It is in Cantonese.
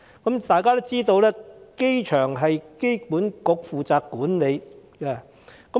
大家皆知道，機場由機管局管理。